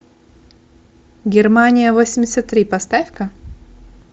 германия восемьдесят три поставь ка